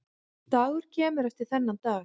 Dagur kemur eftir þennan dag.